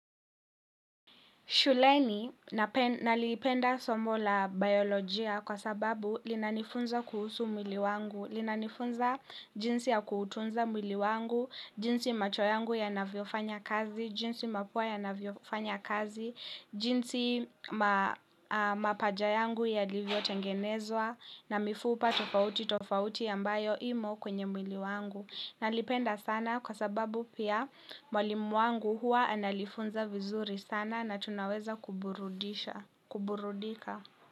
Shuleni nalipenda somo la bayolojia kwa sababu linanifunza kuhusu mwili wangu, linanifunza jinsi ya kuutunza mwili wangu, jinsi macho yangu ya navyofanya kazi, jinsi mapua ya navyofanya kazi, jinsi mapaja yangu yalivyo tengenezwa na mifupa tofauti tofauti ambayo imo kwenye mwili wangu. Nalipenda sana kwa sababu pia mwalimu wangu huwa analifunza vizuri sana na tunaweza kuburudika.